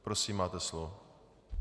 Prosím, máte slovo.